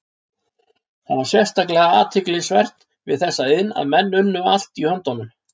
Það var sérstaklega athyglisvert við þessa iðn að menn unnu allt í höndunum.